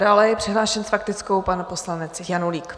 Dále je přihlášen s faktickou pan poslanec Janulík.